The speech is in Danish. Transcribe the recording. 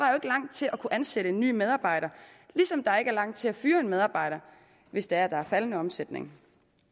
langt til at kunne ansætte en ny medarbejder ligesom der ikke er langt til at fyre en medarbejder hvis der er faldende omsætning